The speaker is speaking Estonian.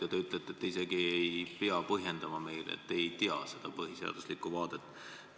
Ja te ütlete, et te isegi ei pea meile midagi põhjendama, et te ei tea seda vaadet põhiseaduslikkuse vaatevinklist.